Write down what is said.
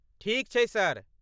ठीक छै, सर।